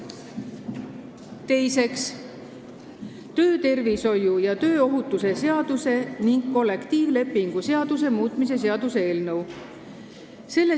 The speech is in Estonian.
Teiseks, töötervishoiu ja tööohutuse seaduse ning kollektiivlepingu seaduse muutmise seaduse eelnõu.